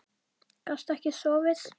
Gastu ekki sofið?